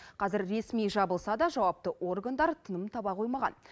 қазір ресми жабылса да жауапты органдар тыным таба қоймаған